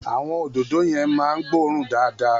Àwọn òdòdó yẹn máa ń gbóòórùn dáadáa.